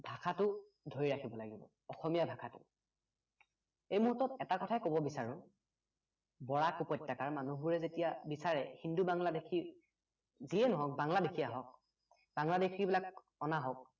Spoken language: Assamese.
ভাষাটো ধৰি ৰাকিব লাগিব অসমীয়া ভাষাটো এই মূহুৰ্তত এটা কথাই কব বিচাৰোঁ বৰাক উপত্য়কাৰ মানুহবোৰে যেতিয়া বিচাৰে হিন্দু বাংলাদেশী যিয়ে নহওক বাংলাদেশী আহক বাংলাদেশী বিলাক অনা হওঁক